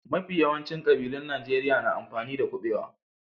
Mafi yawancin kabilun Najeriya na amfani da kubewa.